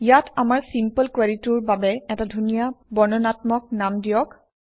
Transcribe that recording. ইয়াত আমাৰ চিম্পল কুৱেৰিটোৰ বাবে এটা ধুনীয়া বৰ্ণনাত্মক নাম দিয়ক